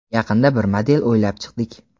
Yaqinda bir model o‘ylab chiqdik.